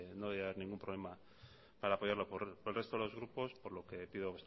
no debería haber ningún problema para apoyarla por el resto de los grupos por lo que pido